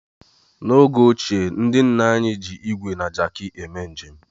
N'oge ochie, ndị nna nna anyị ji ígwè na Jaki eme njem.